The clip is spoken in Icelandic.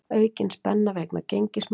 Aukin spenna vegna gengismála